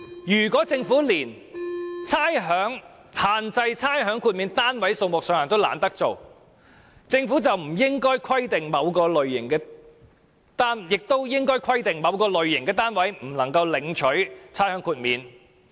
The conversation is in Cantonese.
如果政府連限制差餉豁免單位數目都懶做，起碼也應規定某類型的單位不能豁免差餉。